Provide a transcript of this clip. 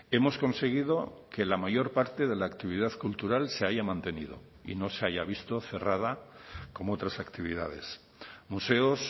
hemos conseguido que la mayor parte de la actividad cultural se haya mantenido y no se haya visto cerrada como otras actividades museos